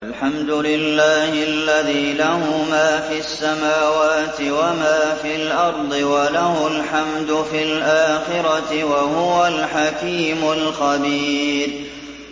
الْحَمْدُ لِلَّهِ الَّذِي لَهُ مَا فِي السَّمَاوَاتِ وَمَا فِي الْأَرْضِ وَلَهُ الْحَمْدُ فِي الْآخِرَةِ ۚ وَهُوَ الْحَكِيمُ الْخَبِيرُ